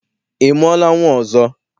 Ị mụọla nnwa ọzọ?